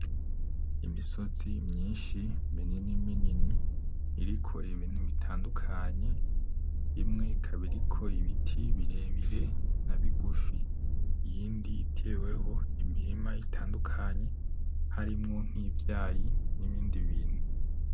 Imisozi myinshi minini minini iriko ibintu bitandukanye, imwe ikaba iriko ibiti birebire nabigufi, iyindi iteweho imirima itandukanye harimwo nkivyayi nibindi bintu .